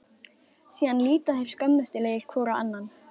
Síðan líta þeir skömmustulegir hvor á annan.